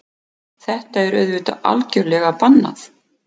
Þetta er auðvitað algjörlega bannað